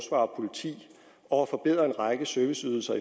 politi og at forbedre en række serviceydelser